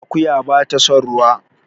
Akuya bata son ruwa